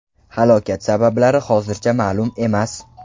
Halokat sabablari hozircha ma’lum emas.